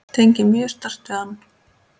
Tengi mjög sterkt við hann.